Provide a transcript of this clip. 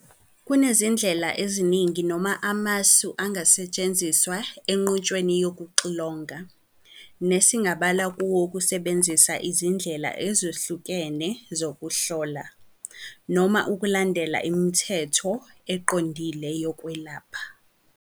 Kunezindlela eziningi noma amasu angasetshenziswa enqutshweni yokuxilonga, nesingabala kuwo ukusebenzisa izindlela ezahlukene zokuhlola, noma ukulandela imithetho eqondile yokwezokwelapha.